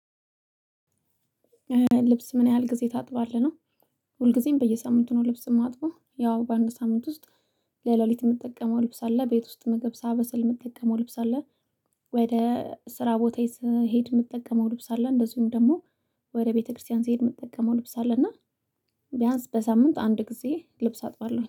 ልብስ ምን ያህል ጊዜ ታጥባለህ ነው? ሁልጊዜም በየሳምንቱ ነው ልብስ የማጥፋው ያው በአንድ ሳምንት ውስጥ። ለሌሊት የምትጠቀመው ልብስ አለ ቤት ውስጥ መግብ ሳበስል የምትጠቀመው ልብስ አለ። ወደ ስራ ቦታዬ ስሄድ የምጠቀመው ልብስ አለ እንደዚሁም ደግሞ። ወደ ቤተክርስቲያን ስሄድ የምጠቀመው ልብስ አለ እና። ቢያንስ በሳምንት አንድ ጊዜ ልብስ አጥባለሁ